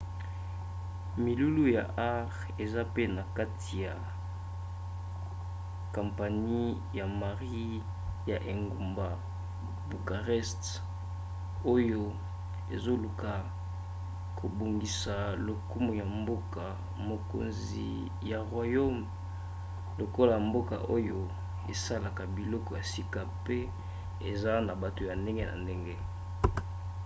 milulu ya art eza mpe na kati ya kampanie ya marie ya engumba bucarest oyo ezoluka kobongisa lokumu ya mboka-mokonzi ya roumanie lokola mboka oyo esalaka biloko ya sika mpe eza na bato ya ndenge na ndenge